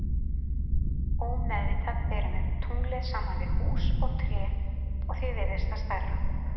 Ómeðvitað berum við tunglið saman við hús og tré og því virðist það stærra.